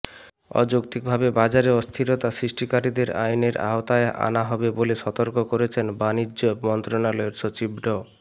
অযৌক্তিকভাবে বাজারে অস্থিরতা সৃষ্টিকারীদের আইনের আওতায় আনা হবে বলে সতর্ক করেছেন বাণিজ্য মন্ত্রণালয়ের সচিব ড